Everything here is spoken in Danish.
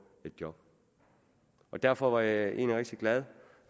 et job derfor var jeg egentlig rigtig glad